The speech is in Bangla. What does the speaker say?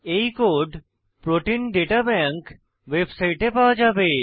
এই কোড প্রোটিন দাতা ব্যাংক ওয়েবসাইটে পাওয়া যাবে